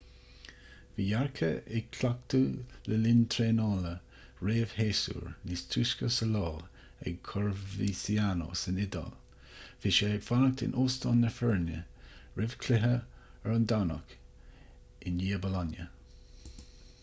bhí jarque ag cleachtadh le linn traenála réamhshéasúir níos túisce sa lá ag coverciano san iodáil bhí sé ag fanacht in óstán na foirne roimh chluiche ar an domhnach i ndiaidh bolonia